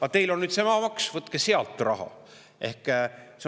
"Aga teil on nüüd see maamaksu, võtke sealt raha.